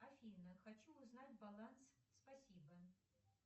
афина хочу узнать баланс спасибо